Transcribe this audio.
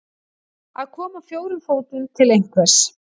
Að koma á fjórum fótum til einhvers